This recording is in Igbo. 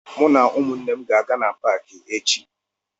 Mụ na ụmụnne m ga-aga na paakị echi